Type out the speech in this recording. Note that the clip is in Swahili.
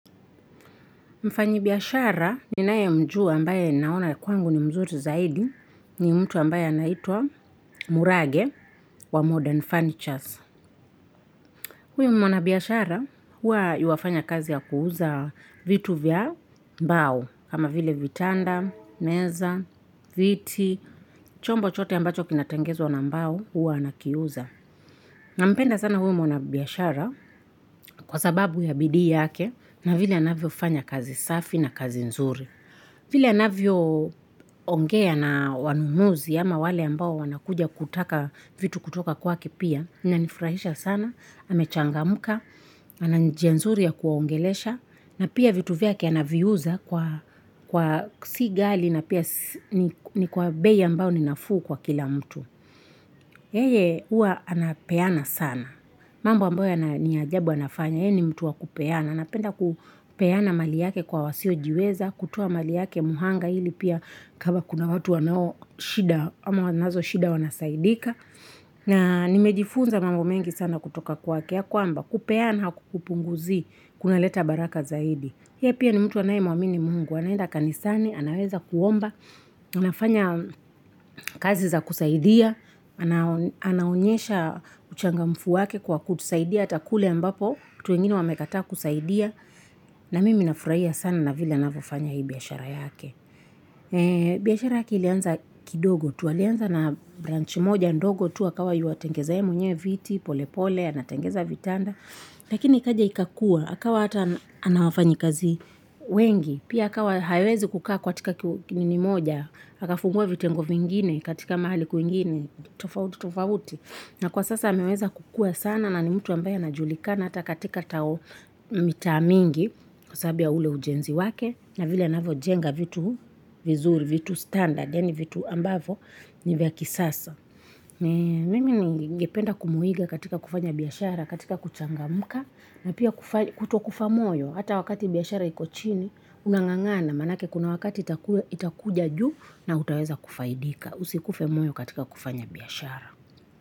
Mfanyibiashara ni nae mjua ambaye naona ya kwangu ni mzuri zaidi ni mtu ambaye anaitwa murage wa modern furnitures. Huyu mwanabiashara huwa yuafanya kazi ya kuuza vitu vya mbao. Kama vile vitanda, meza, viti, chombo chote ambacho kinatangezwa na mbao hua anaki uza. Nampenda sana huyu mwanabiashara kwasababu ya bidii yake na vile anavyo fanya kazi safi na kazi nzuri. Vile anavyo ongea na wanunuzi, ama wale ambao wanakuja kutaka vitu kutoka kwake pia. Inanifurahisha sana, amechangamka, ana njia nzuri ya kuwaongelesha. Na pia vitu vyake anavyu uza kwa si ghali na pia ni kwa bei ambayo ninafuu kwa kila mtu. Yeye uwa anapeana sana. Mambo ambayo ni ajabu anafanya, yeye ni mtu wa kupeana. Anapenda kupeana mali yake kwa wasiojiweza, kutoa mali yake mhanga ili pia kama kuna watu wanao shida, ama wanszo shida wanasaidika. Na nimejifunza mambo mengi sana kutoka kwake ya kwamba, kupeana haku kupunguzi, kuna leta baraka zaidi. Yeye pia ni mtu anaye mwamini mungu, anaenda kanisani, anaweza kuomba, anafanya kazi za kusaidia, anaonyesha uchangamfu wake kwa kutusaidia, ata kule ambapo, watu wengine wamekataa kusaidia. Na mimi nafurahia sana na vile anavyofanya hii biashara yake. Biashara yake ilianza kidogo. Tu alianza na branch moja ndogo. Tu akawa yuwatengeza yeye mwenye viti, pole pole, anatengeneza vitanda. Lakini ikaja ikakua. Akawa ata ana wafanyikazi wengi. Pia ikawa hawezi kukaa kwa katiika ki nini moja. Akafungua vitengo vingine katika mahali kwingine. Tofauti, tofauti. Na kwa sasa ameweza kukua sana na ni mtu ambayo anajulikana hata katika tao mitaa mingi kwasababu ya ule ujenzi wake na vile anavyo jenga vitu vizuri, vitu standard ya ni vitu ambavo ni vya kisasa. Mimi ningependa kumuiga katika kufanya biashara, katika kuchangamka na pia kuto kufa moyo hata wakati biashara iko chini unangangana maanake kuna wakati itakuja juu na utaweza kufaidika usikufe moyo katika kufanya biashara.